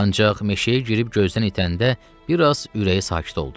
Ancaq meşəyə girib gözdən itəndə bir az ürəyi sakit oldu.